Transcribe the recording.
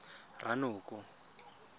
ranoko